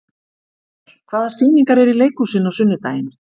Hallkell, hvaða sýningar eru í leikhúsinu á sunnudaginn?